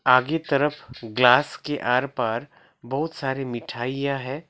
आगे तरफ ग्लास के आर पार बहुत सारी मिठाइयां है।